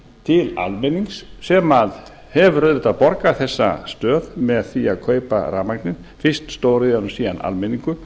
til almennings sem hefur auðvitað borgað þessa stöð með því að kaupa rafmagnið fyrst stóriðjan og síðan almenningur